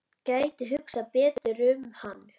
Gæti hugsað betur um hann.